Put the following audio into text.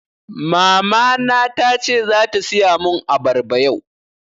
Mama na tace zata siya mun abarba yau